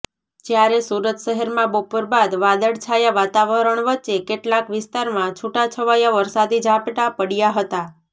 જ્યારે સુરત શહેરમાં બપોર બાદ વાદળછાયા વાતાવરણ વચ્ચે કેટલાક વિસ્તારમાં છૂટાછવાયા વરસાદી ઝાપટાં પડયા હતા